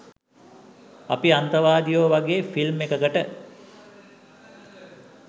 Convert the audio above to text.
අපි අන්තවාදියෝ වගේ ෆිල්ම් එකකට